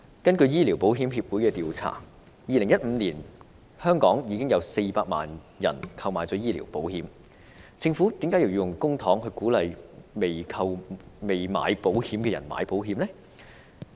根據醫療保險協會的調查 ，2015 年香港已有400萬人購買了醫療保險，政府為何要用公帑鼓勵尚未購買醫療保險的人投保呢？